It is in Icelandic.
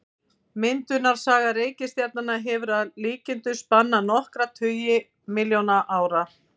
Myndunarsaga reikistjarnanna hefur að líkindum spannað nokkra tugi milljóna ára.